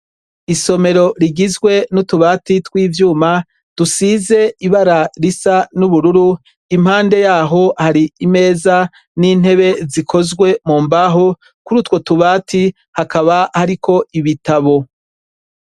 isomero rigizwe n'utubati twivyuma dusize ibara risa n'ubururu impande yaho hari imeza n'intebe zikozwe mu mbaho kuri utwo tubati hakaba hariko ibitabo